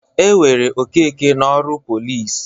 E were Okeke n'ọrụ pọlịs.